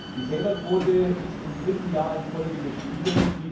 Die Fehlerquote ist im dritten Jahr in Folge gestiegen.